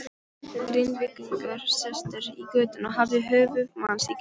Grindvíkingur sestur í götuna og hafði höfuð manns í kjöltunni.